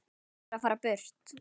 Hann verður að fara burt.